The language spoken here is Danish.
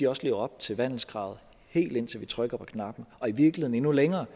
også lever op til vandelskravet helt indtil vi trykker på knappen og i virkeligheden endnu længere